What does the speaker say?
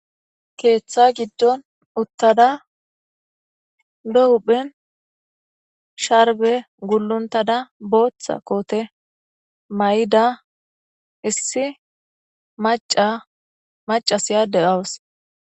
keeththa giddon uttada lo huphen sharbe gulluntada booththa koote may7ida issi maca macas yaadde awus